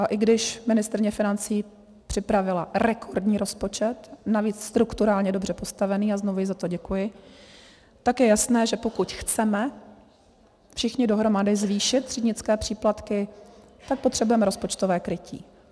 A i když ministryně financí připravila rekordní rozpočet, navíc strukturálně dobře postavený, a znovu jí za to děkuji, tak je jasné, že pokud chceme všichni dohromady zvýšit třídnické příplatky, tak potřebujeme rozpočtové krytí.